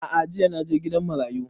A'a jiya na je gidan marayu